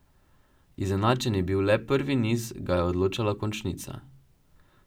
Izenačen je bil le prvi niz, ga je odločala končnica.